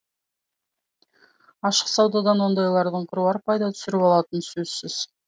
ашық саудадан ондайлардың қыруар пайда түсіріп қалатыны сөзсіз